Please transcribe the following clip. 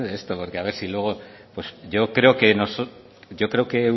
de esto porque a ver si luego yo creo que